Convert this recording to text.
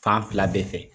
Fan fila bɛɛ fɛ